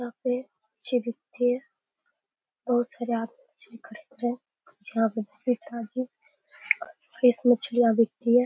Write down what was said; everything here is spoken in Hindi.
यहाँ पे मछली बिकती है बहुत सारे आदमी मछलियां खरीद रहे हैं यहाँ पे फ्रेश मछलियां बिकती है।